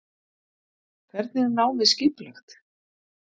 Hvernig er námið skipulagt?